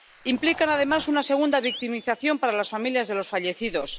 Implican, además, una segunda victimización para las familias de los fallecidos.